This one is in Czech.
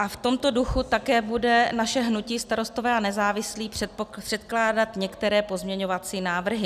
A v tomto duchu také bude naše hnutí Starostové a nezávislí předkládat některé pozměňovací návrhy.